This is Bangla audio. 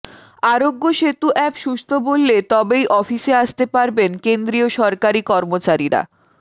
আরোগ্য সেতু অ্যাপ সুস্থ বললে তবেই অফিসে আসতে পারবেন কেন্দ্রীয় সরকারি কর্মচারীরা